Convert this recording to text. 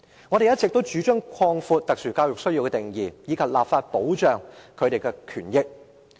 我們一直主張擴闊特殊教育需要的定義，以及立法保障有此需要學生的權益。